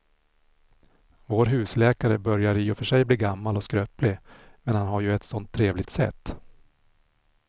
Vår husläkare börjar i och för sig bli gammal och skröplig, men han har ju ett sådant trevligt sätt!